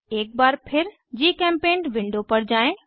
एक बार फिर जीचेम्पेंट विंडो पर जाएँ